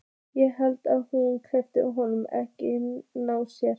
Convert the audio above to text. Ég held að hún hleypi honum ekkert nálægt sér.